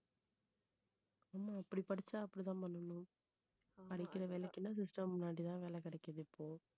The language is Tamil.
ஆமா இப்படி படிச்சா அப்படித்தான் பண்ணணும். படிக்கிற வேலைக்கு எல்லாம் system முன்னாடிதான் வேலை கிடைக்குது இப்போ